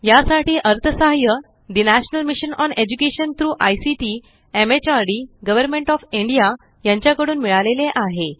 यासाठी अर्थसहाय्य ठे national mission on education through ICT MHRD government of India यांच्या कडून मिळाले आहे